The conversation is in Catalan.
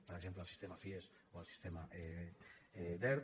per exemple el sistema fies o el sistema dert